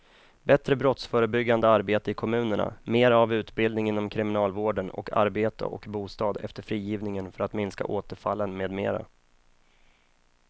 Bättre brottsförebyggande arbete i kommunerna, mera av utbildning inom kriminalvården och arbete och bostad efter frigivningen för att minska återfallen med mera.